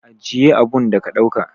Ajiye abun da ka dauka!